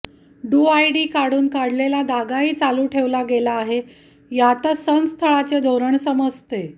डूआयडी काढून काढलेला धागाही चालू ठेवला गेला आहे यातच संस्थळाचे धोरण समजते